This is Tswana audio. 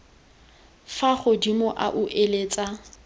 fa godimo a o eletsa